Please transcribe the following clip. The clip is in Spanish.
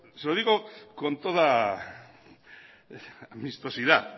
se lo digo con toda vistosidad